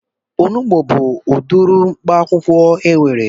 Onugbu bụ udiri mkpaakwụkwọ enwere